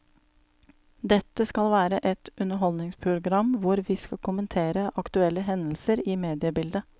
Dette skal være et underholdningsprogram hvor vi skal kommentere aktuelle hendelser i mediebildet.